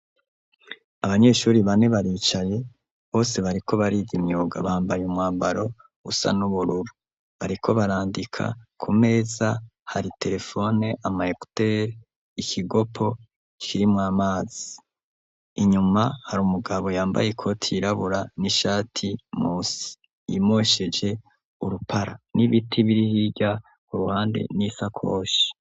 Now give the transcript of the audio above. Abanyeshure bane baricaye bose bariko bariga imyuga, bambaye umwambaro usa n'ubururu, bariko barandika ku meza hari terefone, ama ekutere, ikigopo kirimwo amazi, inyuma hari umugabo yambaye ikoti yirabura n'ishati musi yimosheje urupara, n'ibiti biri hirya ku ruhande n'ishakoshi.